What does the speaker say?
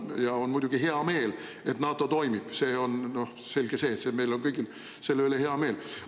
Ja muidugi on mul hea meel, et NATO toimib, selge see, et meil on kõigil selle üle hea meel.